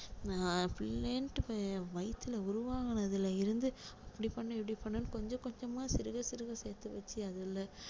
அஹ் பிள்ளைன்னுட்டு வயித்துல உருவானதுல இருந்து அப்படி பண்ணணும் இப்படி பண்ணணுன்னு கொஞ்சம் கொஞ்சமா சிறுக சிறுக சேர்த்து வச்சி அதுல